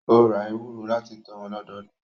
Ó ra ewúrẹ́ láti tọ́ wọn lọ́dọdún